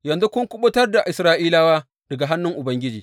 Yanzu kun kuɓutar da Isra’ilawa daga hannun Ubangiji.